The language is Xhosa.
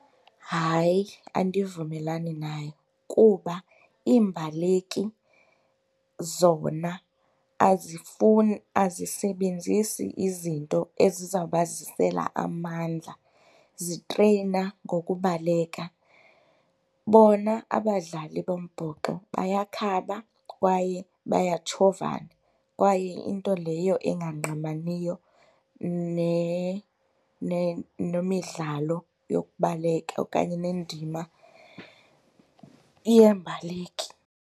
Hayi, andivumelani nayo kuba iimbaleki zona azifuni azisebenzisi izinto ezizawubazisela amandla zitreyina ngokubaleka. Bona abadlali bombhoxo bayakhaba kwaye bayatshovana kwaye into leyo engangqamaniyo nemidlalo yokubaleka okanye nendima yeembaleki.